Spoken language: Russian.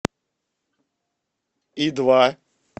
и два